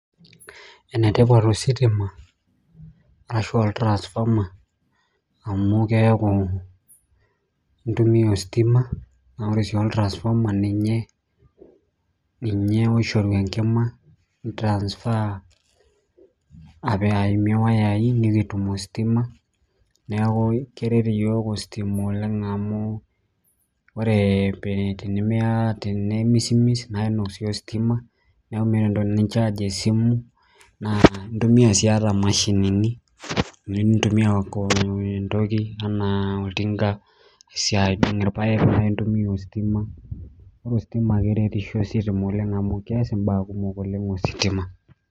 Enetipat ositima arashu oltrasfoma amu amu keaku intumiya ositima, naaku ore si oltrasfoma ninye oisharu enkima, nintransfer aimie wayaii nikitum ositima. Neaku keret yook ositima oleng amu ore pee tenemismis naa inuak sii ositima, naaku meeta entoki nincharge esimu, naa intumiya sii ata imashinini, nintumiya te entoki anaa oltinga, siatin orpaek naaku intumiya ositima. Ore ositima keretisho ositima oleng amu keas imbaa kumok oleng ositima.